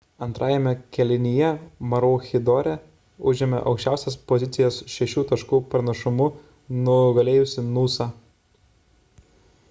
antrame kėlinyje maroochydore užėmė aukščiausias pozicijas šešių taškų pranašumu nugalėjusi noosa